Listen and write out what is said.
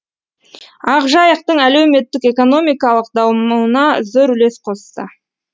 ақжайықтың әлеуметтік экономикалық дамуына зор үлес қосты